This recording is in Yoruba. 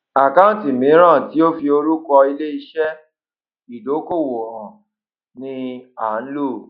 àkáǹtì míràn tí ó n fi orúkọ ilé iṣé ìdókòwò hàn ni à ń lò